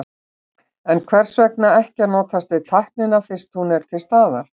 En hvers vegna ekki að notast við tæknina fyrst hún er til staðar?